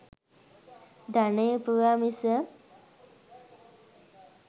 ධනය ඉපයුවා මිස